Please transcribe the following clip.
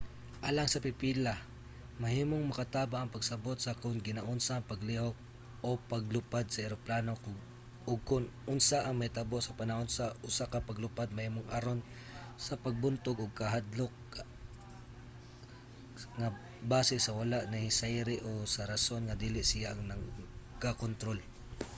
alang sa pipila mahimong makatabang ang pagsabot sa kon ginaunsa ang paglihok/paglupad sa eroplano ug kon unsa ang mahitabo sa panahon sa usa ka paglupad mahimong aron sa pagbuntog og hakadlok kahadlok nga base sa wala nahisayri o sa rason nga dili siya ang nagakontrol